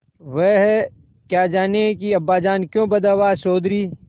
वह क्या जानें कि अब्बाजान क्यों बदहवास चौधरी